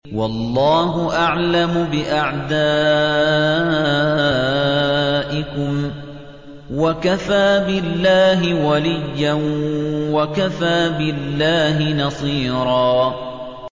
وَاللَّهُ أَعْلَمُ بِأَعْدَائِكُمْ ۚ وَكَفَىٰ بِاللَّهِ وَلِيًّا وَكَفَىٰ بِاللَّهِ نَصِيرًا